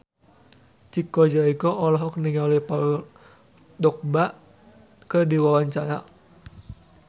Chico Jericho olohok ningali Paul Dogba keur diwawancara